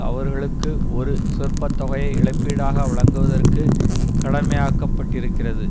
அவர்களுக்கு ஒரு சொற்பத்தொகையை இழப்பீடாக வழங்குவதற்கு கடமையாக்கப்பட்டிருக்கிறது